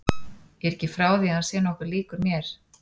Ég er ekki frá því að hann sé nokkuð líkur mér.